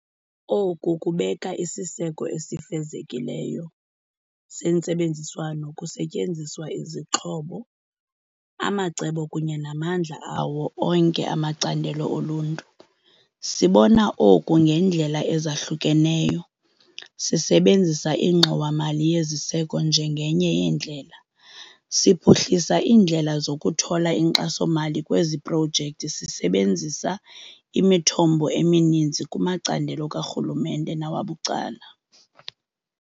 Oku kubeka isiseko esifezekileyo sentsebenziswano kusetyenziswa izixhobo, amacebo kunye namandla awo onke amacandelo oluntu. Sibona oku ngeendlela ezahlukeneyo. Sisebenzisa iNgxowa-mali yeZiseko njengenye yendlela, siphuhlisa iindlela zokuthola inkxaso-mali kwezi projekthi sisebenzisa imithombo emininzi kumacandelo karhulumente nawabucala.